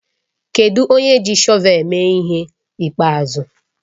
Kedụ onye ji shọvel eme ihe ịkpeazụ?